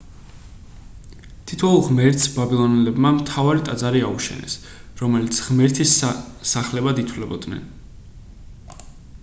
თითოეულ ღმერთს ბაბილონელებმა მთავარი ტაძარი აუშენეს რომლებიც ღმერთის სახლებად ითვლებოდნენ